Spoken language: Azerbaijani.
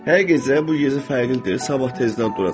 Hər gecə bu gecə fərqlidir, sabah tezdən duracam.